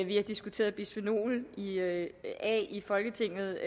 vi har diskuteret bisfenol a i folketinget